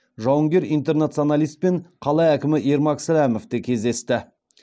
жауынгер интернационалистпен қала әкімі ермак сәлімов те кездесті